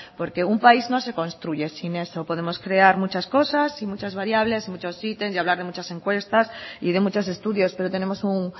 porque un país no se construye sin eso podemos crear muchas cosas y muchas variables muchos y hablar de muchas encuestas y de muchos estudios pero tenemos un